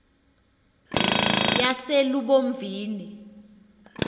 yaselubomvini